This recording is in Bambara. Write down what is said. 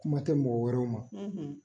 Kuma tɛ mɔgɔ wɛrɛw ma